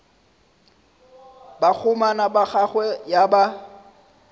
bakgomana ba gagwe ya ba